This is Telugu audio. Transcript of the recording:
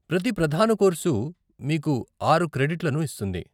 ప్రతి ప్రధాన కోర్సు మీకు ఆరు క్రెడిట్లను ఇస్తుంది.